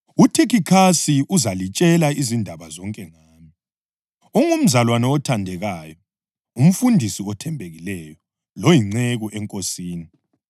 UThikhikhasi uzalitshela izindaba zonke ngami. Ungumzalwane othandekayo, umfundisi othembekileyo loyinceku eNkosini.